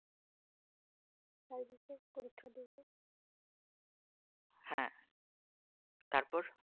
হ্যাঁ তারপর?